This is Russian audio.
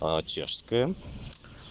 чешская